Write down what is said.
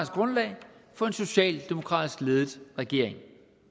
grundlag for en socialdemokratisk ledet regering